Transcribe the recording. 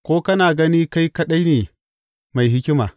Ko kana gani kai kaɗai ne mai hikima?